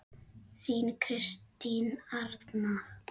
Þín Kristín Arna.